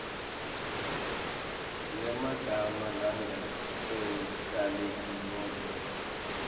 yemagama langaketayeleki nobe